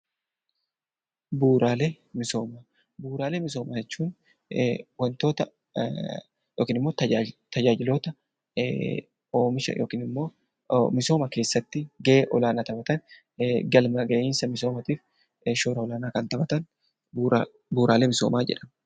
Bu'uuraalee misoomaa jechuun wantoota misooma keessatti gahee olaanaa kan qaban galma gahiinsa misoomaatiif gahee olaanaa kan taphatan bu'uuraalee misoomaa jedhamu